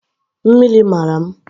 Mmiri mara m